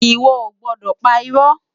Iwò ó gbòdò pá irò